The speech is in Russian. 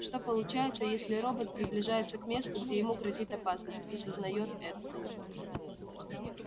что получается если робот приближается к месту где ему грозит опасность и сознает это